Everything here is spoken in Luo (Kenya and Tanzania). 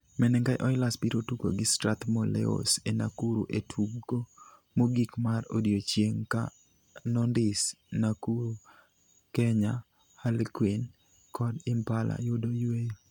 Menengai Oilers biro tugo gi Strathmore Leos e Nakuru e tugo mogik mar odiechieng' ka Nondies, Nakuru, Kenya Harlequin kod Impala yudo yueyo.